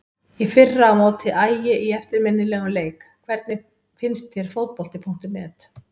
Í fyrra á móti Ægi í eftirminnilegum leik Hvernig finnst þér Fótbolti.net?